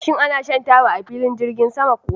Shin ana shan taba a filin jirgin sama kuwa?